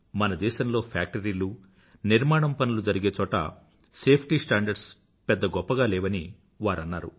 మన దేశంలో ఫ్యాక్టరీలు నిర్మాణం పనులు జరిగే చోట సేఫ్టీ స్టాండర్డ్స్ పెద్ద గొప్పగా లేవని వారు అన్నారు